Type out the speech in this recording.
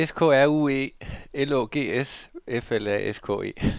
S K R U E L Å G S F L A S K E